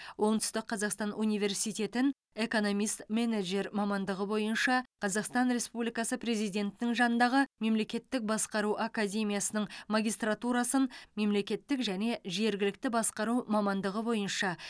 оңтүстік қазақстан университетін экономист менеджер мамандығы бойынша қазақстан республикасы президентінің жанындағы мемлекеттік басқару академиясының магистратурасын мемлекеттік және жергілікті басқару мамандығы бойынша